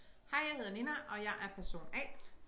Hej jeg hedder Nina og jeg er person A